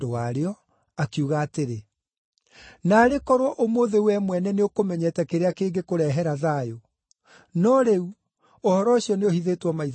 akiuga atĩrĩ, “Naarĩ korwo ũmũthĩ wee mwene nĩũkũmenyete kĩrĩa kĩngĩkũrehere thayũ! No rĩu, ũhoro ũcio nĩũhithĩtwo maitho maku.